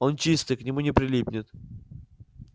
он чистый к нему не прилипнет